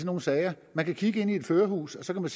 nogle sager man kan kigge ind i et førerhus og så kan